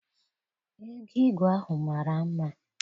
Ego igwe ahụ mara mma.